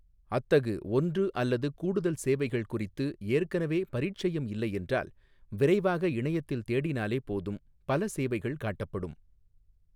அத்தகு ஒன்று அல்லது கூடுதல் சேவைகள் குறித்து ஏற்கனவே பரீட்சயம் இல்லை என்றால், விரைவாக இணையத்தில் தேடினாலே போதும், பல சேவைகள் காட்டப்படும்.